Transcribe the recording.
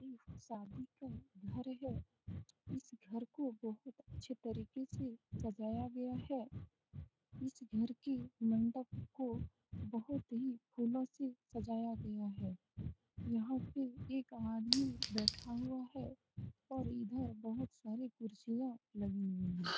ये शादी का घर है इस घर को बहुत अच्छी तरीके से सजाया गया है इस घर के मंडप को बहुत ही फूलों से सजाया गया है यहाँ पे एक आदमी बैठा हुआ है और इधर बहुत सारे कुर्सियाँ लगी हुई हैं।